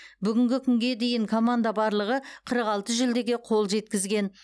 бүгінгі күнге дейін команда барлығы қырық алты жүлдеге қол жеткізген